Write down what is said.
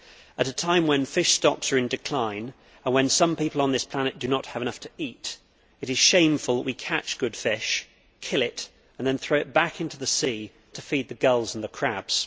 At a time when fish stocks are in decline and when some people on this planet do not have enough to eat, it is shameful that we catch good fish, kill it and then throw it back into the sea to feed the gulls and the crabs.